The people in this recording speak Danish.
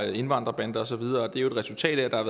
indvandrerbander og så videre det er jo et resultat af at der